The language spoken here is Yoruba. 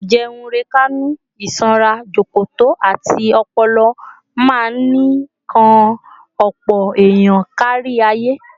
Àìjẹunrekánú, ìsanra jọ̀kọ̀tọ̀, àti ọpọlọ máa ń kan ọ̀pọ̀ èèyàn kárí ayé